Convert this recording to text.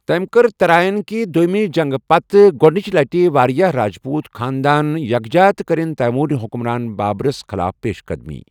تٔمہِ کٔرِ ترائین کہِ دۄیمہِ جنگہٕ پتہٕ گۄدٕنٕچہِ لٹہِ واریاہ راجپوت خاندان یكھجا تہٕ کٕرٕن تیموری حکمران بابرس خٕلاف پیش قدمی ۔